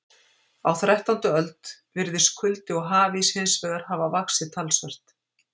Á þrettándu öld virðist kuldi og hafís hins vegar hafa vaxið talsvert.